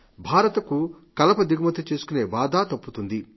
భారత్ కు కలప దిగుమతి చేసుకనే బాధ తప్పుతుంది